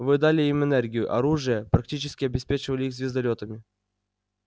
вы дали им энергию оружие практически обеспечили их звездолётами